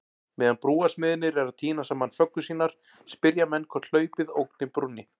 Meðan brúarsmiðirnir eru að týna saman föggur sínar, spyrja menn hvort hlaupið ógni brúnni?